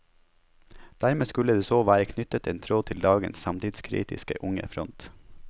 Dermed skulle det så være knyttet en tråd til dagens samtidskritiske unge front.